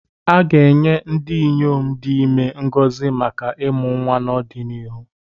A ga-enye ndị inyom dị ime ngọzi maka ịmụ nwa n'ọdịnihu.